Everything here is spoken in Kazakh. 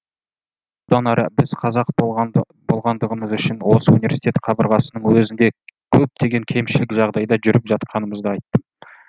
бұдан әрі біз қазақ болғандығымыз үшін осы университет қабырғасының өзінде көптеген кемшілік жағдайда жүріп жатқанымызды айттым